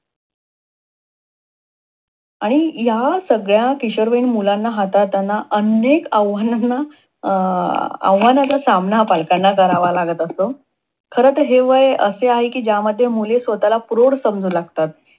आणि ह्या सगळ्या किशोरवयीन मुलांना हाताळतांना अनेक आव्हानांना आव्हानाचा सामना पालकांना करावा लागत असतो. खरे तर हे वय असे आहे कि ज्यामध्ये मुली स्वतःला प्रौढ समजू लागतात.